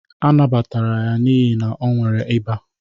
A nabatara ya n'ihi na o nwere eba